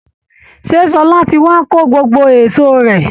Ṣé Ṣọlá ti wá kó gbogbo èsó rẹ̀